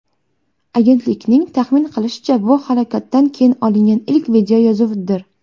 Agentlikning taxmin qilishicha, bu halokatdan keyin olingan ilk videoyozuvdir.